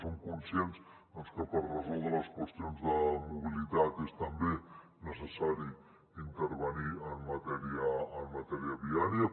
som conscients que per resoldre les qüestions de mobilitat és també necessari intervenir en matèria viària